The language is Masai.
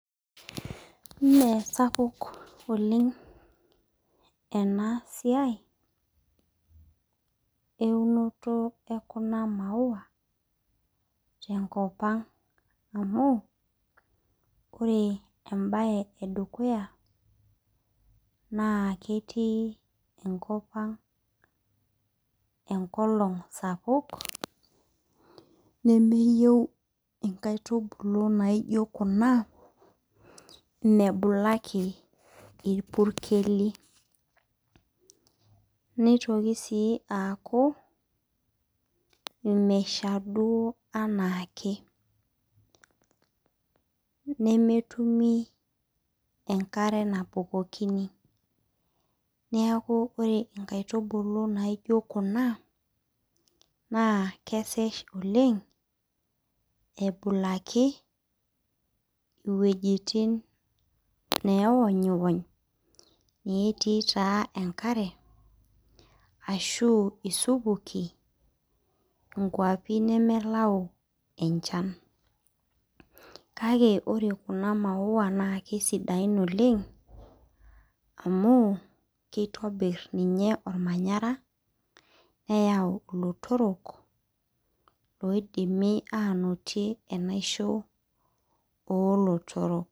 Mee sapuk oleng' ena siai eunoto ekuna mauau tenkop ang' amu ore embaye edukuya naa ketii nekop ang' enkolong' sapuk nemeyieu nkaitubulu nijio kuna mebulaki irpurkeli nitoki sii aaku meshabu enaa ake nemetumi enkare nabukokini neeku ore nkaitubulu nijio kuna naa kesaj oleng' ebulaki iwuejitin naonyiwony netii taa enkare ashu isupuki nkuapi nemelaua enchan kake ore kuna maua naa sidan amu kitobirr olmanyara neyaau ilotorok oidimi aanotie enaosho oolotorok.